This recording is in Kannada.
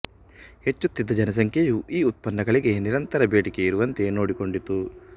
ಹೆಚ್ಚುತ್ತಿದ್ದ ಜನಸಂಖ್ಯೆಯು ಈ ಉತ್ಪನ್ನಗಳಿಗೆ ನಿರಂತರ ಬೇಡಿಕೆ ಇರುವಂತೆ ನೋಡಿಕೊಂಡಿತು